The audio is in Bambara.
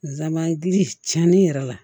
Nsaban giriman yɛrɛ la